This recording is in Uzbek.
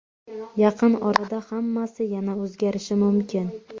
Yaqin orada hammasi yana o‘zgarishi mumkin.